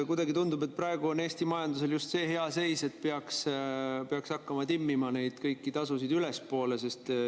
Kuidagi tundub, et praegu on Eesti majanduses just see hea seis, et peaks hakkama timmima kõiki neid tasusid ülespoole.